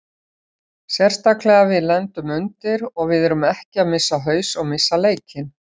Sérstaklega við lendum undir og við erum ekki að missa haus og missa leikinn.